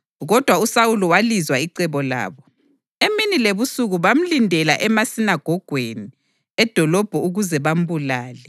kodwa uSawuli walizwa icebo labo. Emini lebusuku bamlindela emasinagogweni edolobho ukuze bambulale.